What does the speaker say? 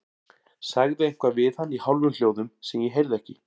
Sagði eitthvað við hann í hálfum hljóðum sem ég heyrði ekki.